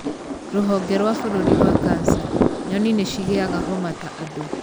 Rũhonge rwa bũrũri rwa kanca. Nyoni nĩ cigĩaga homa ta andũ.